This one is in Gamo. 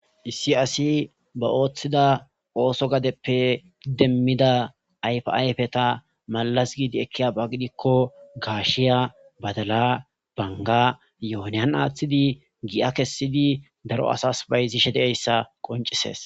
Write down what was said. issi asi ba ooththida ooso gadeppe demmida ayfayfeta malas giidi ekkiya ba gidikko gaashiya badala banga yohoniyan aaththidi gi7a kessidi daro asas bayzishe de7eyssa qoncisees